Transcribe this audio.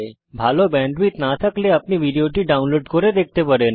ভাল ব্যান্ডউইডথ না থাকলে আপনি ভিডিওটি ডাউনলোড করে দেখতে পারেন